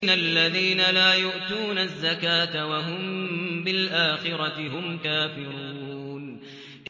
الَّذِينَ لَا يُؤْتُونَ الزَّكَاةَ وَهُم بِالْآخِرَةِ هُمْ كَافِرُونَ